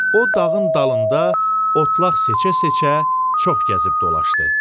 O dağın dalında otlaq seçə-seçə çox gəzib dolaşdı.